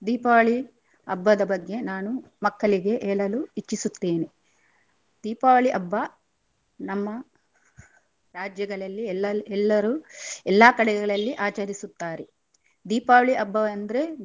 ದೀಪಾವಳಿ ಹಬ್ಬದ ಬಗ್ಗೆ ನಾನು ಮಕ್ಕಳಿಗೆ ಹೇಳಲು ಇಚ್ಚಿಸುತ್ತೇನೆ. ದೀಪಾವಳಿ ಹಬ್ಬ ನಮ್ಮ ರಾಜ್ಯಗಳಲ್ಲಿ ಎಲ್ಲಲ್~ ಎಲ್ಲರು ಎಲ್ಲಾ ಕಡೆಗಳಲ್ಲಿ ಆಚರಿಸುತ್ತಾರೆ ದೀಪಾವಳಿ ಹಬ್ಬವೆಂದ್ರೆ.